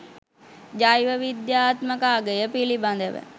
ජෛව විද්‍යාත්මක අගය පිළිබඳව